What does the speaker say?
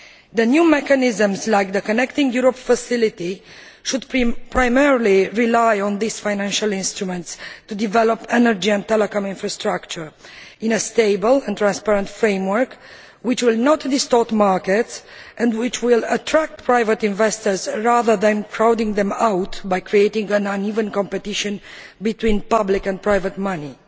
The new mechanisms, like the Connecting Europe Facility, should primarily rely on these financial instruments to develop energy and telecom infrastructure in a stable and transparent framework which will not distort markets and which will attract private investors, rather than crowding them out by creating an uneven competition between public and private money.